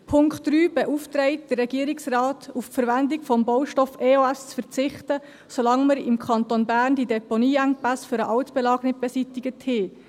Der Punkt 3 beauftragt den Regierungsrat, auf die Verwendung des Baustoffes EOS zu verzichten, solange wir im Kanton Bern die Deponieengpässe für den Altbelag nicht beseitigt haben.